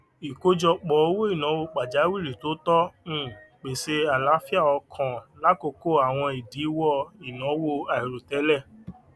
ìkọjọpọ owóìnàwó pajàwìrí tó tọ um pèsè àlàáfíà ọkàn lákòókò àwọn ìdíwọ ìnáwó àìròtẹlẹ